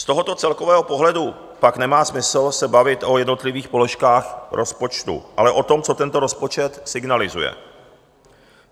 Z tohoto celkového pohledu pak nemá smysl se bavit o jednotlivých položkách rozpočtu, ale o tom, co tento rozpočet signalizuje.